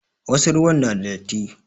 Wasu ruwan na da datti.